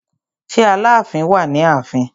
Ṣé Aláàfin wà ní ààfin?